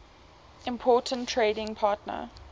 important trading partner